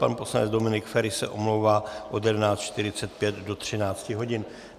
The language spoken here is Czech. Pan poslanec Dominik Feri se omlouvá od 11.45 do 13 hodin.